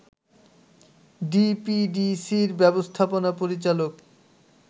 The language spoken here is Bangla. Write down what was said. ডিপিডিসির ব্যবস্থাপনা পরিচালক